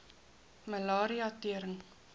malaria tering